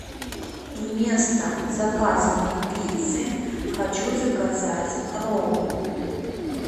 вместо заказанной пиццы хочу заказать роллы